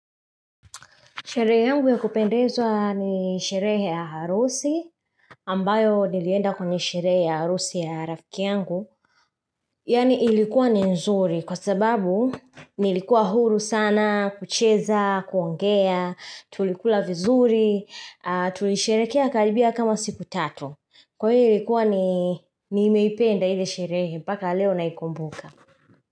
Sherehe yangu ya kupendezwa ni sherehe ya harusi, ambayo nilienda kwenye sherehe ya harusi ya rafiki yangu. Yaani ilikuwa ni nzuri kwa sababu nilikuwa huru sana, kucheza, kuongea, tulikula vizuri, tulisherehekea karibia kama siku tatu. Kwa hiyo ilikuwa nimeipenda ile sherehe, mpaka leo naikumbuka.